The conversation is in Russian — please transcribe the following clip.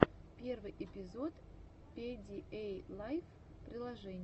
первый эпизод пидиэйлайф приложений